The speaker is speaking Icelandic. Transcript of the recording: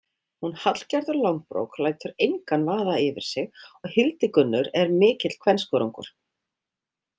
Hún Hallgerður langbrók lætur engan vaða yfir sig og Hildigunnur er mikill kvenskörungur.